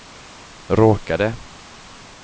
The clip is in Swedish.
råkade